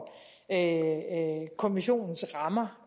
konventionens rammer